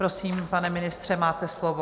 Prosím, pane ministře, máte slovo.